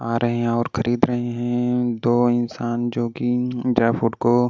आ रहे हैं और खरीद रहे हैं दो इंसान जो कि ड्राई फूड को --